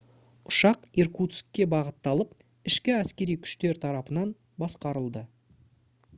ұшақ иркутскке бағытталып ішкі әскери күштер тарапынан басқарылды